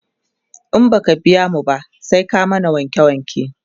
in baka biya mu ba, sai ka mana wanke wanke